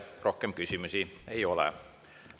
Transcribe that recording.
Teile rohkem küsimusi ei ole.